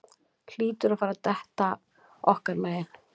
Hlýtur að fara detta okkar megin